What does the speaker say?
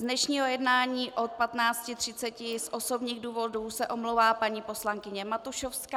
Z dnešního jednání od 15.30 z osobních důvodů se omlouvá paní poslankyně Matušovská.